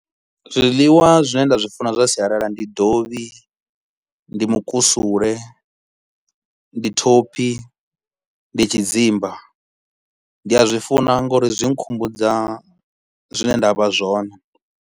Zwiḽiwa zwine nda zwi funa zwa sialala ndi dovhi, ndi mukusule, ndi thophi, ndi tshidzimba. Ndi a zwi funa ngauri zwi nkhumbudza zwine nda vha zwone